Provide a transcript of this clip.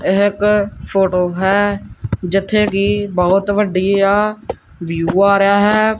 ਇਕ ਫੋਟੋ ਹੈ ਜਿੱਥੇ ਕਿ ਬਹੁਤ ਵੱਡੀ ਆ ਵਿਊ ਆ ਰਿਹਾ ਹੈ।